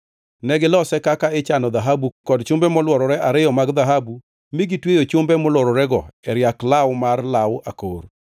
Ne gilose kaka ichano dhahabu kod chumbe molworore ariyo mag dhahabu mi gitweyo chumbe molwororego e riak law mar law akor.